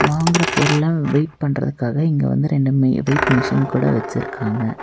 வாங்குற பொருள வெயிட் பண்றதுக்காக இங்க வந்து ரெண்டு மி வெயிட் மிஷின் கூட வச்சுருக்காங்க.